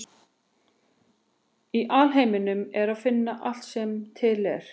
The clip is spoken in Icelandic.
Í alheiminum er að finna allt sem er til.